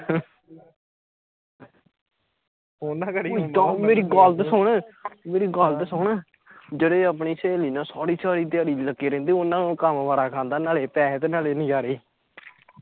ਉਹ ਯਾਰ ਮੇਰੀ ਗੱਲ ਤਾ ਸੁਣ ਮੇਰੀ ਗੱਲ ਤਾ ਸੁਣ ਜਿਹੜੇ ਆਪਣੀ ਸਹੇਲੀ ਨਾ ਸਾਰੀ ਸਾਰੀ ਦਿਆਰੀ ਲੱਗੇ ਰਹਿੰਦੇ ਓਹਨਾ ਨੂੰ ਕੰਮ ਵਾਰਾ ਖਾਂਦਾ ਨਾਲੇ ਪੈਸੇ ਤੇ ਨਾਲੇ ਨਜ਼ਾਰੇ